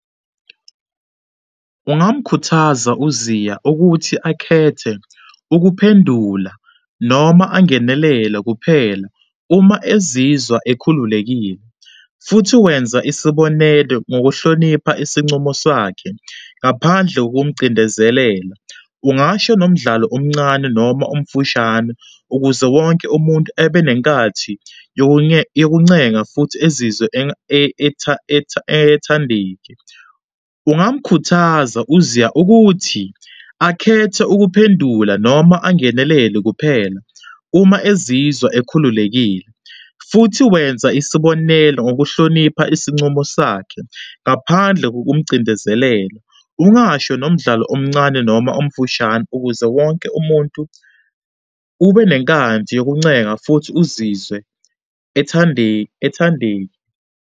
Ungamkhuthaza uZiya ukuthi akhethe ukuphendula noma angenelele kuphela uma ezizwa ekhululekile, futhi wenza isibonelo ngokuhlonipha isincumo sakhe ngaphandle kokumcindezelela. Ungasho nomdlalo omncane noma omfushane ukuze wonke umuntu ebenenkathi yokuncenga futhi ezizwe ethandike. Ungamkhuthaza uZiya ukuthi akhethe ukuphendula noma angenelele kuphela uma ezizwa ekhululekile, futhi wenza isibonelo ngokuhlonipha isincumo sakhe ngaphandle kokumcindezelela. Ungasho nomdlalo omncane noma omfushane ukuze wonke umuntu ubenenkathi yokuncenga futhi uzizwe ethande, ethande.